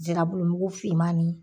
Zirabulumugu fiman ni